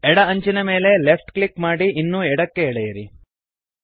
ಎಡ ಅಂಚಿನ ಮೇಲೆ ಲೆಫ್ಟ್ ಕ್ಲಿಕ್ ಮಾಡಿ ಇನ್ನೂ ಎಡಕ್ಕೆ ಎಳೆಯಿರಿ